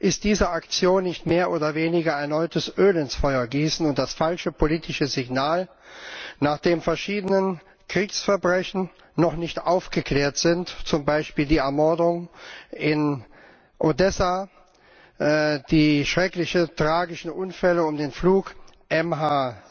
Ist diese Aktion nicht mehr oder weniger, erneut Öl ins Feuer zu gießen, und das falsche politische Signal, nachdem verschiedene Kriegsverbrechen noch nicht aufgeklärt sind, zum Beispiel die Morde in Odessa, die schrecklichen, tragischen Unfälle um den Flug MH